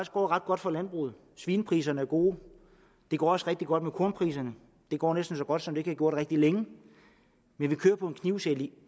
går ret godt for landbruget svinepriserne er gode det går også rigtig godt med kornpriserne det går næsten så godt som det ikke har gået rigtig længe men det kører på en knivsæg